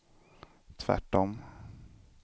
tvärtom